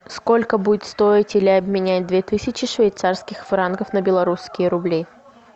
сколько будет стоить или обменять две тысячи швейцарских франков на белорусские рубли